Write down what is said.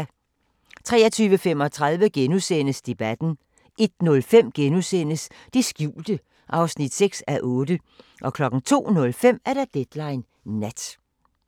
23:35: Debatten * 01:05: Det skjulte (6:8)* 02:05: Deadline Nat